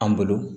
An bolo